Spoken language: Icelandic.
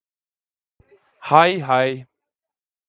Hæ, hæ.